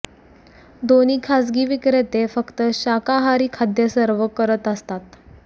दोन्ही खाजगी विक्रेते फक्त शाकाहारी खाद्य सर्व्ह करत असतात